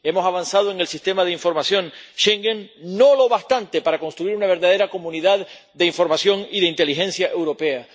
Hemos avanzado en el Sistema de Información Schengen, no lo bastante para construir una verdadera comunidad de información y de inteligencia europea.